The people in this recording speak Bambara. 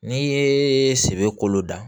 N'i ye sɛbɛ kolo da